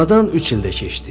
Aradan üç il də keçdi.